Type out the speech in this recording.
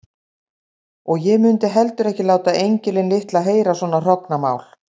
Og ég mundi heldur ekki láta engilinn litla heyra svona hrognamál.